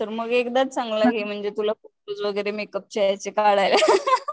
तर मग एकदाच चांगला घे म्हणजे तुला फोटोस वगैरे मेकअप चे याचे काढायला